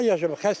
Tənha yaşayıram.